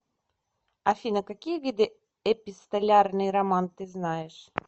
афина какие виды эпистолярный роман ты знаешь